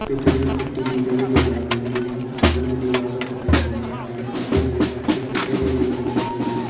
फि- फिसलन पट्टी दी गई है जो लाल रंग की है बगल में दीवार है सफेद रंग का पेड़-पौधे हरे पत्ते सफेद और नीले रंग के आसमान है।